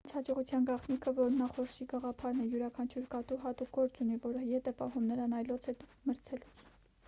նրանց հաջողության գաղտնիքը որմնախորշի գաղափարն է յուրաքանչյուր կատու հատուկ գործ ունի որը ետ է պահում նրան այլոց հետ մրցելուց